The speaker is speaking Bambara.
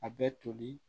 A bɛ toli